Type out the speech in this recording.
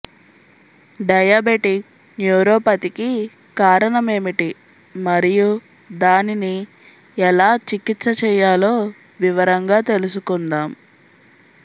diabetic న్యూరోపతికి కారణమేమిటి మరియు దానిని ఎలా చికిత్స చేయాలో వివరంగా తెలుసుకుందాం